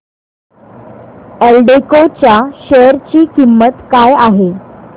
एल्डेको च्या शेअर ची किंमत काय आहे